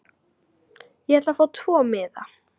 Ég ætla að fá tvo miða.